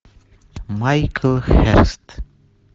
майкл херст